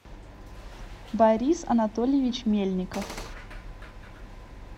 борис анатольевич мельников